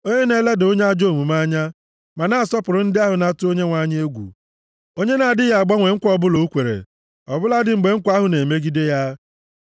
onye na-eleda onye ajọ omume anya, ma na-asọpụrụ ndị ahụ na-atụ egwu Onyenwe anyị, onye na-adịghị agbanwe nkwa ọbụla o kwere, ọ bụladị mgbe nkwa ahụ na-emegide ya,